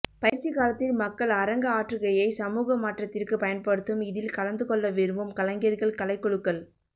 பயிற்சிக் காலத்தில் மக்கள் அரங்க ஆற்றுகையை சமூகமாற்றத்திற்குப் பயன்படுத்தும் இதில் கலந்துகொள்ளவிரும்பும் கலைஞர்கள் கலைக்குழுக்கள்